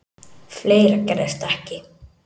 Fleira gerðist ekki.